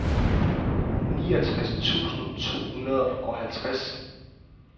niogtres tusind to hundrede og halvtreds